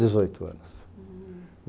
Dezoito anos. Hm